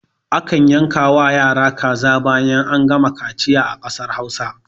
A kan yanka wa yara kaza bayan an gama kaciya a ƙasar hausa